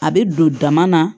A bɛ don dama na